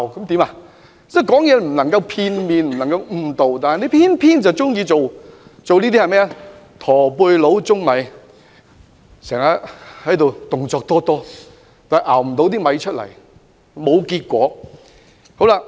說話不能片面、不能誤導，他們偏偏喜歡像"駝背佬舂米"，動作多多，但卻徒勞無功。